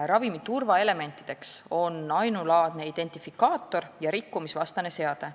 Ravimi turvaelemendid on ainulaadne identifikaator ja rikkumisvastane seade.